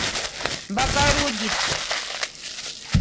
богородицк